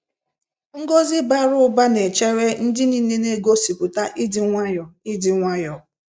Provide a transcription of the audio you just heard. Ngọzi bara ụba n'echere ndị nile n'egosipụta ịdị nwayọọ ịdị nwayọọ.